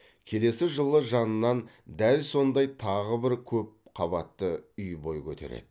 келесі жылы жанынан дәл сондай тағы бір көп қабатты үй бой көтереді